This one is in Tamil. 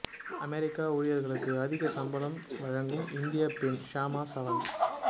அமெரிக்க ஊழியர்களுக்கு அதிக சம்பளம் வழங்கும் இந்தியப் பெண் ஷாமா சவந்த்